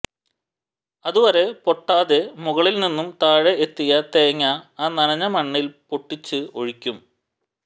അത് വരെ പൊട്ടാതെ മുകളിൽ നിന്നും താഴെ എത്തിയ തേങ്ങ ആ നനഞ്ഞ മണ്ണിൽ പൊട്ടിച്ച് ഒഴിക്കും